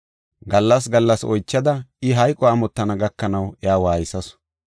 Gallas gallas oychada I hayqo amottana gakanaw iya waaysasu.